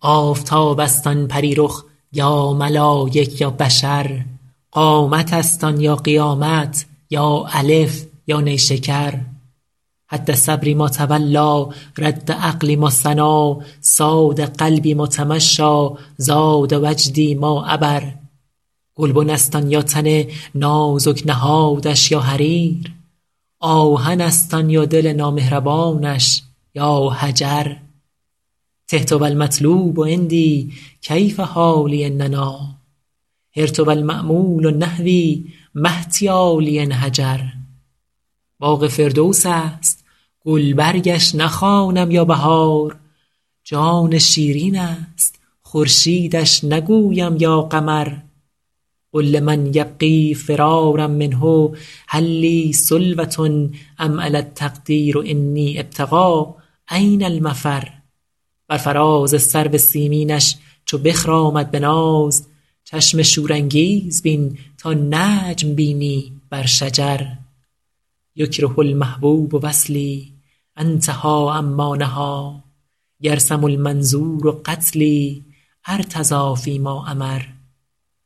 آفتاب است آن پری رخ یا ملایک یا بشر قامت است آن یا قیامت یا الف یا نیشکر هد صبری ما تولیٰ رد عقلی ما ثنیٰ صاد قلبی ما تمشیٰ زاد وجدی ما عبر گلبن است آن یا تن نازک نهادش یا حریر آهن است آن یا دل نامهربانش یا حجر تهت و المطلوب عندی کیف حالی إن نأیٰ حرت و المأمول نحوی ما احتیالی إن هجر باغ فردوس است گلبرگش نخوانم یا بهار جان شیرین است خورشیدش نگویم یا قمر قل لمن یبغی فرارا منه هل لی سلوة أم علی التقدیر أنی أبتغي أین المفر بر فراز سرو سیمینش چو بخرامد به ناز چشم شورانگیز بین تا نجم بینی بر شجر یکره المحبوب وصلی أنتهي عما نهیٰ یرسم المنظور قتلی أرتضی فی ما أمر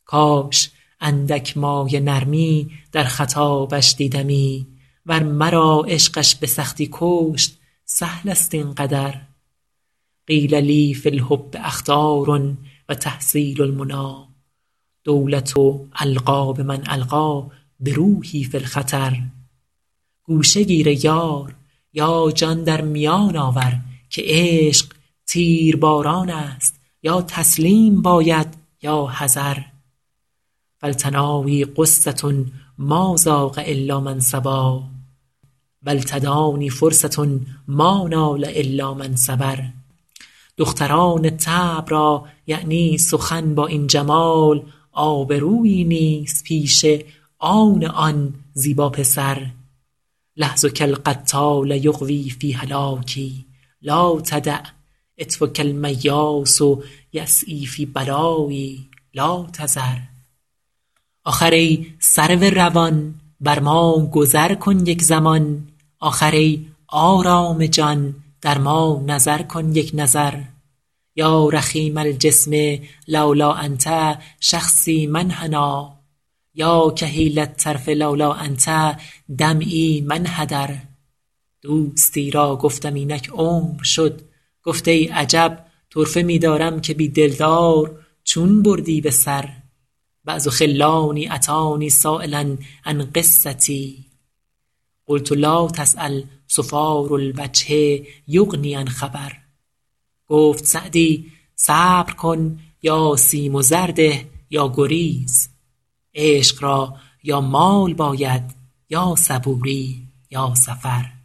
کاش اندک مایه نرمی در خطابش دیدمی ور مرا عشقش به سختی کشت سهل است این قدر قیل لی فی الحب أخطار و تحصیل المنیٰ دولة ألقی بمن ألقیٰ بروحی فی الخطر گوشه گیر ای یار یا جان در میان آور که عشق تیرباران است یا تسلیم باید یا حذر فالتنایی غصة ما ذاق إلا من صبا و التدانی فرصة ما نال إلا من صبر دختران طبع را یعنی سخن با این جمال آبرویی نیست پیش آن آن زیبا پسر لحظک القتال یغوی فی هلاکی لا تدع عطفک المیاس یسعیٰ فی بلایی لا تذر آخر ای سرو روان بر ما گذر کن یک زمان آخر ای آرام جان در ما نظر کن یک نظر یا رخیم الجسم لولا أنت شخصی ما انحنیٰ یا کحیل الطرف لولا أنت دمعی ما انحدر دوستی را گفتم اینک عمر شد گفت ای عجب طرفه می دارم که بی دلدار چون بردی به سر بعض خلانی أتانی سایلا عن قصتی قلت لا تسأل صفار الوجه یغنی عن خبر گفت سعدی صبر کن یا سیم و زر ده یا گریز عشق را یا مال باید یا صبوری یا سفر